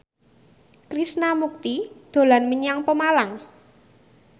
Krishna Mukti dolan menyang Pemalang